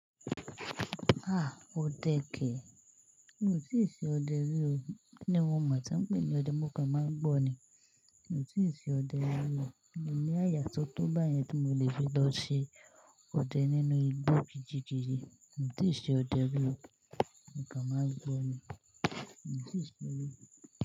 Ah! Ode ke. Mi ò tíì ṣe ọdẹ rí o. Ni mo mọ̀, tí wọ́n ń pè ní ọdẹ, mo kàn máa ń gbọ́ ni. Mi ò tíì ṣe ọdẹ rí o. Mio ní àyà tó tó bá yẹn tí mo lè fi lọ ṣe ọdẹ nínú igbó kejikeji. Mi ò tíì ṣe ọdẹ rí o. Mo kàn máa ń gbọ́ ni. Mi ò tíì ṣe ọdẹ rí o.